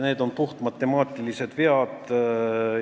Need on puhtmatemaatilised vead.